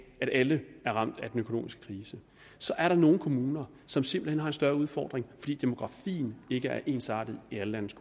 at alle er ramt af den økonomiske krise så er der nogle kommuner som simpelt hen har en større udfordring fordi demografien ikke er ensartet i alle landets